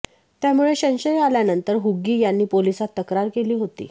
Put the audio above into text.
त्यामुळे संशय आल्यानंतर हुग्गी यांनी पोलिसांत तक्रार केली होती